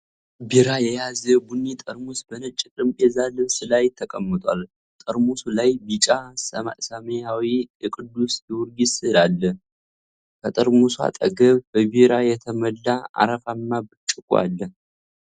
ቢራ የያዘ ቡኒ ጠርሙስ በነጭ የጠረጴዛ ልብስ ላይ ተቀምጧል። ጠርሙሱ ላይ ቢጫ ስያሜና የቅዱስ ጊዮርጊስ ስዕል አለ። ከጠርሙሱ አጠገብ በቢራ የተሞላ አረፋማ ብርጭቆ አለ።